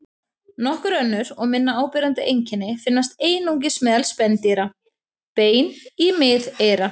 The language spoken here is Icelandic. Nokkur önnur og minna áberandi einkenni finnast einungis meðal spendýra: Bein í miðeyra.